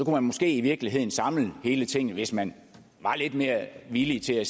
man måske i virkeligheden samle hele tinget hvis man var lidt mere villig til at